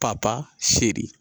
Pa pa seri.